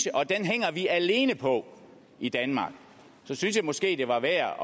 og den hænger vi alene på i danmark så synes jeg måske det var værd